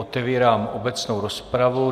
Otevírám obecnou rozpravu.